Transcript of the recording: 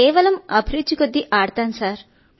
అదంటే ఉద్వేగంగా ఉంటుంది ఆడేస్తుంటాను